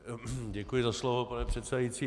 Děkuji za slovo, pane předsedající.